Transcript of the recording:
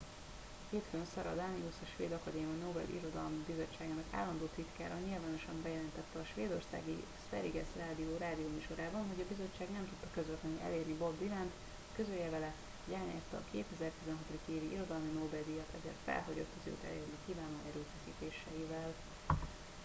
hétfőn sara danius a svéd akadémia nobel irodalmi bizottságának állandó titkára nyilvánosan bejelentette a svédországi sveriges radio rádióműsorában hogy a bizottság nem tudta közvetlenül elérni bob dylant hogy közölje vele hogy elnyerte a 2016. évi irodalmi nobel díjat ezért felhagyott az őt elérni kívánó erőfeszítéseivel